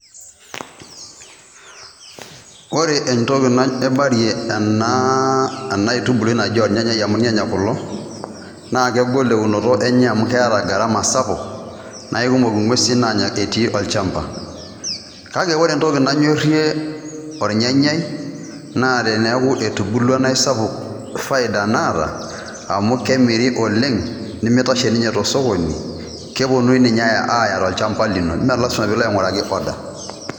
Ore entoki naibarie ena enaa aitubuui naji ornyanyai amu irnyanya kulo, naa kegol eunoto enye amu keeta gharama sapuk. Naa ikumok ing`uesi naanya etii olchamba kake ore entoki nanyorrie olnyanyai naa teneaku etubulua naa eisapuk faida naata amu kemiri oleng nemeitashe ninye to sokoni keponuni ninye aaya tolchamba lino mme lazima pee ilo aing`uraki order.